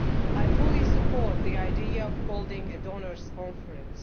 I fully support the idea of holding a donors' conference.